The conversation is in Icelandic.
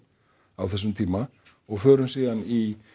á þessum tíma og förum síðan í